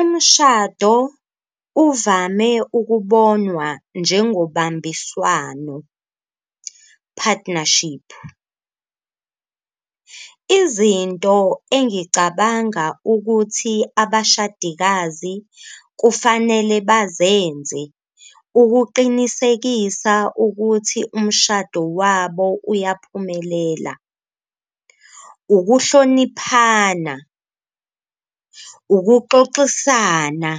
Umshado uvame ukubonwa njengokubambiswano partnership, izinto engicabanga ukuthi abashadikazi kufanele bazenze ukuqinisekisa ukuthi umshado wabo uyaphumelela ukuhloniphana, ukuxoxisana,